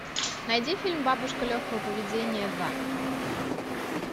найди фильм бабушка легкого поведения два